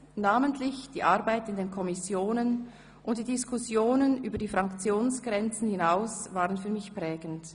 Namentlich die Arbeit in den Kommissionen und die Diskussionen über die Fraktionsgrenzen hinaus waren für mich prägend.